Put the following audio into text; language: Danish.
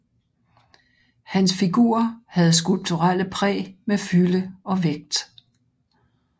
Hans figurer havde skulpturelle præg med fylde og vægt